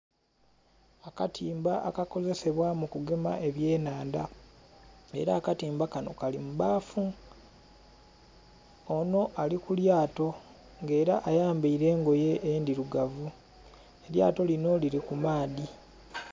Akatimba akakozesebwa mu kigema ebye nhandha nga era akatimba kanho Kali mu bbaafu. Onho ali kulyato nga era ayambaire engoye endhirugavu elyato linho lili ku maadhi.